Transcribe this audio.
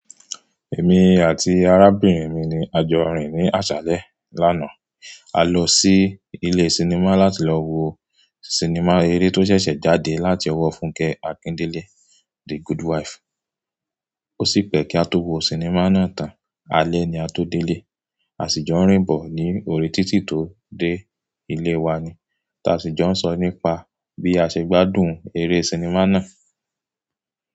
Èmi àti arábìnrin mi ni a jọ rìn ní àṣálẹ́ lánàá. A lọ sí ilé sinimá láti lọ wo sinimá eré tó ṣẹ̀ṣẹ̀ jáde láti ọwọ́ Fúnkẹ́ Akíndélé, "The Good Wife". Ó sì pẹ́ kí a tó wo sinimá náà tán, alẹ́ ni a tó délé. A sì jọ rìn bọ̀ ní òré títí tó dé ilé wa ni. Taa sì jọ ń sọ nípa bí a ṣe gbádùn eré sinimá náà.